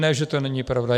Ne že to není pravda.